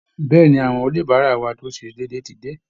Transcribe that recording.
Bẹ́ẹ̀ ni, àwọn oníbàárà wa tó ń ṣe déédéé ti dé